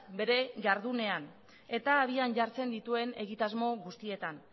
bere jardunean eta abian jartzen dituen egitasmo guztietan